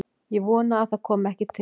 Ég vona að það komi ekki til.